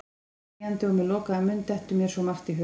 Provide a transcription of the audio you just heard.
Þegjandi og með lokaðan munn dettur mér svo margt í hug.